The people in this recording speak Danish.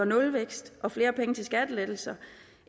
nulvækst og flere penge til skattelettelser